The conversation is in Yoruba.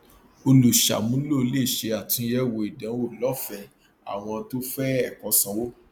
olùṣàmúlò lè ṣe àtúnyẹwò ìdánwò lọfẹẹ àwọn tó fẹ ẹkọ sanwó